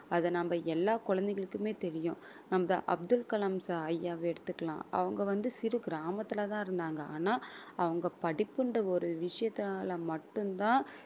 அதை நம்ம எல்லா குழந்தைகளுக்குமே தெரியும் நம்ம அப்துல் கலாம் ச~ ஐயாவை எடுத்துக்கலாம் அவங்க வந்து சிறு கிராமத்திலதான் இருந்தாங்க ஆனா அவங்க படிப்புன்ற ஒரு விஷயத்தினால மட்டும்தான்